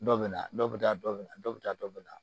Dɔ bɛ na dɔ bɛ taa dɔ bɛ na dɔ bɛ taa dɔ bɛ na